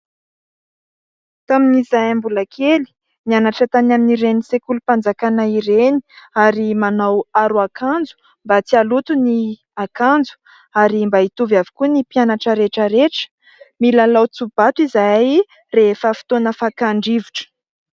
Tamin'izahay mbola kely nianatra tany amin'ireny sekolim-panjakana ireny ary manao aro akanjo mba tsy haloto ny akanjo ary mba hitovy avokoa ny mpianatra rehetra rehetra ; milalao tsobato izahay rehefa fotoana fakan-drivotra.